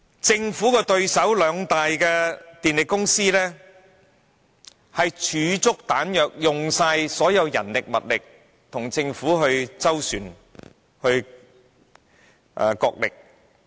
政府的對手兩大電力公司已儲備充足彈藥，耗盡所有人力、物力，與政府斡旋、角力。